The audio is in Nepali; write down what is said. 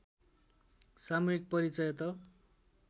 सामूहिक परिचय त